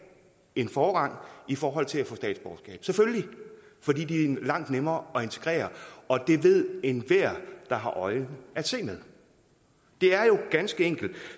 en forrang i forhold til at få statsborgerskab selvfølgelig fordi de langt nemmere at integrere og det ved enhver der har øjne at se med det er jo ganske enkelt